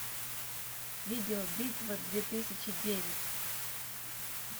видео битва две тысячи девять